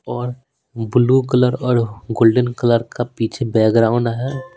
और blue colour और golden colour का पीछे बैकग्राउंड है।